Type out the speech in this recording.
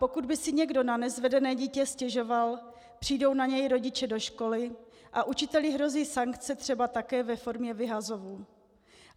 Pokud by si někdo na nezvedené dítě stěžoval, přijdou na něj rodiče do školy a učiteli hrozí sankce třeba také ve formě vyhazovu.